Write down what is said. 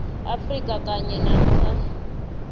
afrika kanye namkha